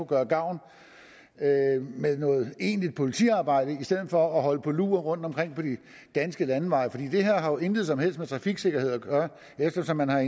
gøre gavn med noget egentlig politiarbejde i stedet for at holde på lur rundtomkring på de danske landeveje det har jo intet som helst med trafiksikkerhed at gøre eftersom man har